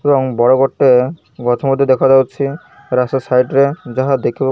ଏବଂ ବଡ଼ ଗୋଟେ ଗଛ ମଧ୍ୟ ଦେଖାଯାଉଛି ରାସ୍ତା ସାଇଟ୍ ରେ ଯାହା ଦେଖିବା --